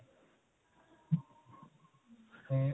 ਤੇ